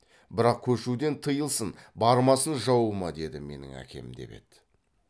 бірақ көшуден тыйылсын бармасын жауыма деді менің әкем деп еді